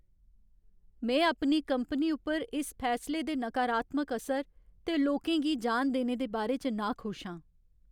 में अपनी कंपनी उप्पर इस फैसले दे नकारात्मक असर ते लोकें गी जान देने दे बारे च नाखुश आं।